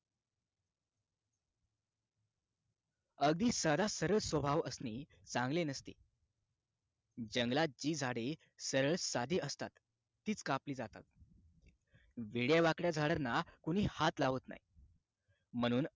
अगदी साधा सरळ स्वभाव असणे चांगले नसते जंगलात जी झाडे सरळ साधी असतात तीच कापली जातात वेड्यावाकडे झाडांना कोणी हात लावत नाही म्हणून